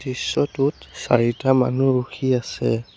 দৃশ্যটোত চাৰিটা মানুহ ৰখি আছে।